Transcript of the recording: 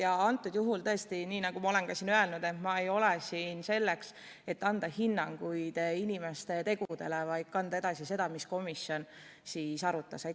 Ja antud juhul tõesti, nii nagu olen juba öelnud, et ma ei ole siin selleks, et anda inimeste tegudele hinnanguid, vaid selleks, et anda edasi seda, mida komisjon arutas.